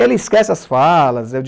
Ela esquece as falas.